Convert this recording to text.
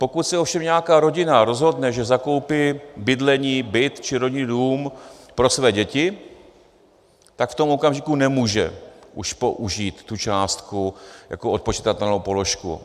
Pokud se ovšem nějaká rodina rozhodne, že zakoupí bydlení, byt či rodinný dům pro své děti, tak v tom okamžiku nemůže už použít tu částku jako odpočitatelnou položku.